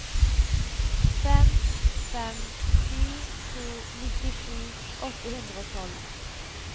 fem fem sju to nittisju åtte hundre og tolv